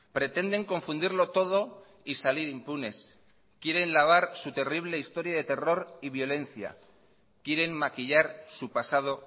pretenden confundirlo todo y salir impunes quieren lavar su terrible historia de terror y violencia quieren maquillar su pasado